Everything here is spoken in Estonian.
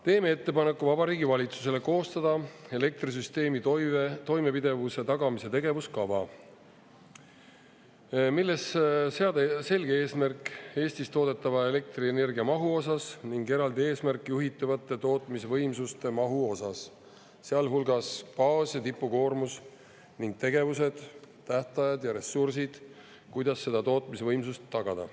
Teeme ettepaneku Vabariigi Valitsusele koostada elektrisüsteemi toimepidevuse tagamise tegevuskava, milles seada selge eesmärk Eestis toodetava elektrienergia mahu osas ning eraldi eesmärk juhitavate tootmisvõimsuste mahu osas, sealhulgas baas‑ ja tipukoormus, ning tegevused, tähtajad ja ressursid, kuidas seda tootmisvõimsust tagada.